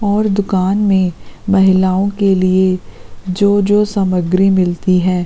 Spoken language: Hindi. और दुकान में महिलाओं के लिए जो-जो सामग्री मिलती हैं।